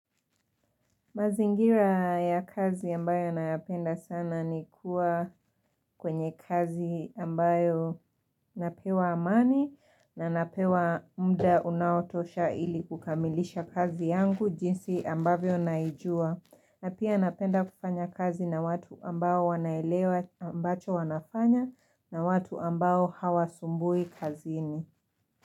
Mazingira ya kazi ambayo nayapenda sana ni kuwa kwenye kazi ambayo napewa amani na napewa muda unaotosha ili kukamilisha kazi yangu jinsi ambavyo naijua. Na pia napenda kufanya kazi na watu ambao wanaelewa ambacho wanafanya na watu ambayo hawasumbui kazini.